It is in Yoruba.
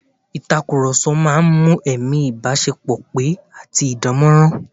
Ìtàkùrọ̀sọ máa ń mú ẹ̀mí ìbáṣepọ̀ pẹ́ àti dánmọ́nrán